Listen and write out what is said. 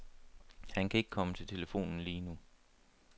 Han kan ikke komme til telefonen lige nu.